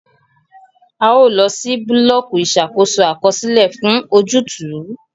A o lọ si bulọọki Ìṣàkóso Àkọsílẹ fún ojútùú